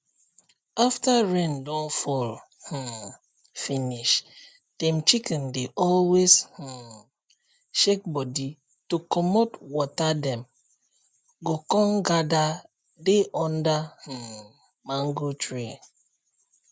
after rain don fall um finishdem chicken dey always um shake body to comot water dem go con gather dey under um mango tree